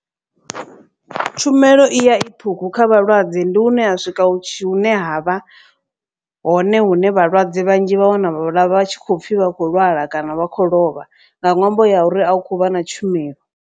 Tshumelo i ya i ṱhukhu kha vhalwadze ndi hune ha swika hune ha vha hone hune vhalwadze vhanzhi vha wana vha tshi khou pfhi vha khou lwala. Kana vha khou lovha nga ṅwambo ya uri a hu khou vha na tshumelo.